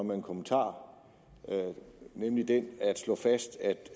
med en kommentar nemlig at slå fast